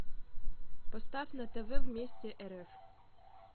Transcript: поставь на тв вместе рф